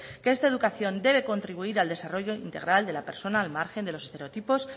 que esta educación debe contribuir al desarrollo integral de la persona al margen de los estereotipos